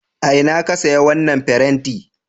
A ina ka saya wannan farenti?